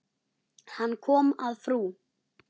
Hann kom að frú